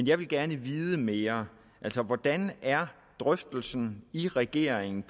jeg vil gerne vide mere altså hvordan er drøftelsen i regeringen